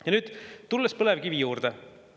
Ja nüüd tulen põlevkivi juurde.